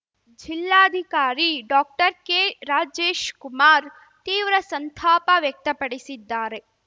ಜಿಲ್ಲಾಧಿಕಾರಿ ಡಾಕ್ಟರ್ಕೆ ರಾಜೇಶ್‌ಕುಮಾರ್ ತೀವ್ರ ಸಂತಾಪ ವ್ಯಕ್ತಪಡಿಸಿದ್ದಾರೆ